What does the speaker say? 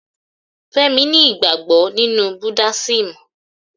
Fẹ́mi ni ìgbàgbọ́ nínú buddasim